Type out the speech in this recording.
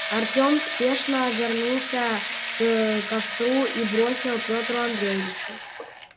артем спешно вернулся к костру и бросил петру андреевичу